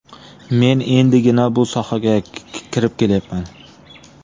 Men endigina bu sohaga kirib kelyapman.